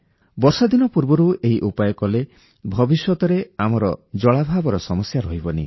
ବର୍ଷାଦିନ ପୂର୍ବରୁ ଏହି ଉପାୟ କଲେ ଭବିଷ୍ୟତରେ ଆମର ଜଳାଭାବର ସମସ୍ୟା ରହିବନି